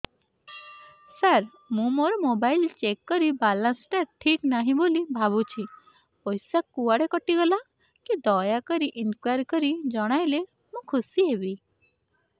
ସାର ମୁଁ ମୋର mobile check କଲି ବାଲାନ୍ସ ଟା ଠିକ ନାହିଁ ବୋଲି ଭାବୁଛି ପଇସା କୁଆଡେ କଟି ଗଲା କି ଦୟାକରି ଇନକ୍ୱାରି କରି ଜଣାଇଲେ ମୁଁ ଖୁସି ହେବି